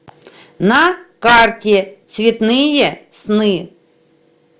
на карте цветные сны